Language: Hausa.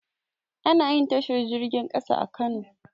Anayin tashar jirgin ƙasa a kano